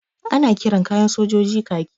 Ana kiran kayan sojoji kaki.